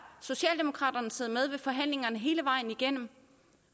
socialdemokraterne siddet med ved forhandlingerne hele vejen igennem